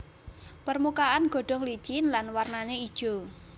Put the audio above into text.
Permukaan godhong licin lan warnané ijo